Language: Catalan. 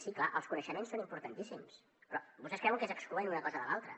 sí clar els coneixements són importantíssims però vostès creuen que és excloent una cosa de l’altra